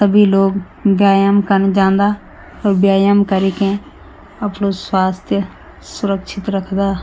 सभी लोग व्यायाम कन जांदा और व्यायाम करी के अप्डू स्वास्थ सुरक्षित रखदा।